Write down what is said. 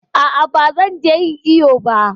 A'a ba zan je ƴin iƴo ba.